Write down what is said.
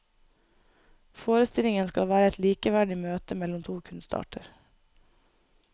Forestillingen skal være et likeverdig møte mellom to kunstarter.